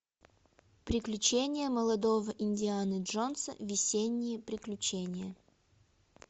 приключения молодого индианы джонса весенние приключения